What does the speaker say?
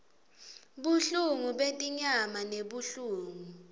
buhlungu betinyama nebuhlungu